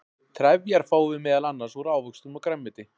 trefjar fáum við meðal annars úr ávöxtum og grænmeti